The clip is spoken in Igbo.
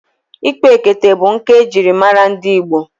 Ikpa ekete bụ nkà ejiri mara ndị Igbo.